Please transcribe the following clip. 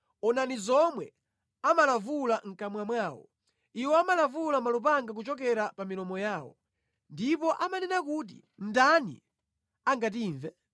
Onani zomwe amalavula mʼkamwa mwawo; iwo amalavula malupanga kuchokera pa milomo yawo, ndipo amanena kuti, “Ndani angatimve?”